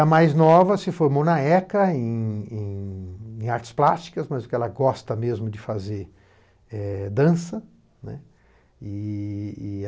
A mais nova se formou na ECA, em em em artes plásticas, mas ela gosta mesmo de fazer é dança, né.